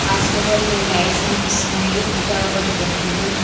hospital the lights కనిపిస్తున్నాయి ఇటా ఒకటికి ఇది ఉం--